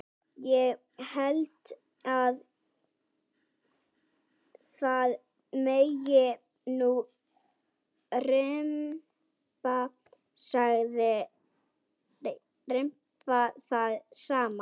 Ég held að það megi nú rimpa það saman.